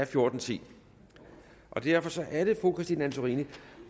fjorten ti derfor er det nu fru christine antorini